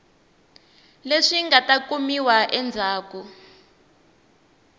leswi nga ta kumiwa endzhaku